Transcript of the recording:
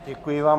Děkuji vám.